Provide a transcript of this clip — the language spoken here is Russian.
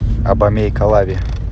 абомей калави